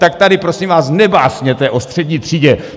Tak tady, prosím vás, nebásněte o střední třídě!